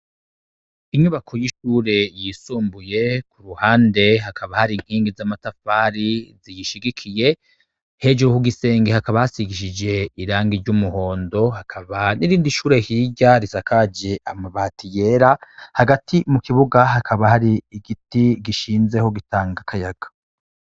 Inyubako y'ishure ryisumbuye kuruhande hakaba hari inyubako z'amatafari ziyishigikiye, hejuru kugisenge hakaba hasigishijwe irangi ry'umuhondo hakaba n'irindi shure hirya risakaje amabati yera, hagati mu kibuga hakaba hari igiti gishinzeho gitanga akayaga.